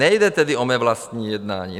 Nejde tedy o mé vlastní jednání.